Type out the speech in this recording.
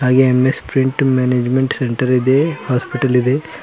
ಹಾಗೆ M S print management centre ಇದೆ hospital ಇದೆ.